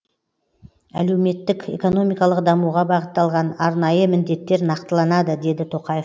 әлеуметтік экономикалық дамуыға бағытталған арнайы міндеттер нақтыланады деді тоқаев